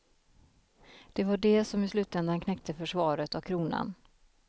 Det var de som i slutändan knäckte försvaret av kronan.